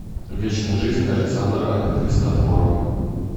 вечная жизнь александра христофорова